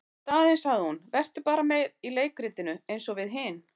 Í staðinn sagði hún:- Vertu bara með í leikritinu eins og við hin.